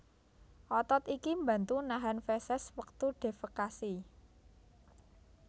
Otot iki mbantu nahan feses wektu defekasi